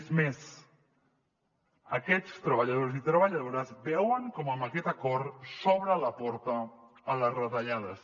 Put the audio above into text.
és més aquests treballadors i treballadores veuen com amb aquest acord s’obre la porta a les retallades